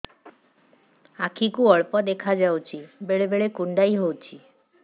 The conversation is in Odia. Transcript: ଆଖି କୁ ଅଳ୍ପ ଦେଖା ଯାଉଛି ବେଳେ ବେଳେ କୁଣ୍ଡାଇ ହଉଛି